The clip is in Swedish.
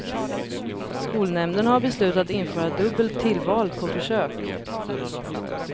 Skolnämnden har beslutat införa dubbelt tillval på försök.